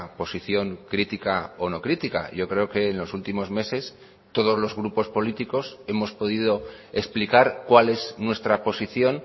posición crítica o no crítica yo creo que en los últimos meses todos los grupos políticos hemos podido explicar cuál es nuestra posición